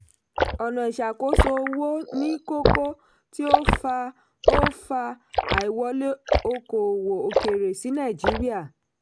ọ̀nà iṣàkóso-owó ni kókó tí ó fa ó fa àìwọlé okò-òwò òkèèrè sí nàìjíríà.